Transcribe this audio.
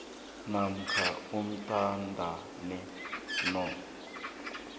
namkha uthintane no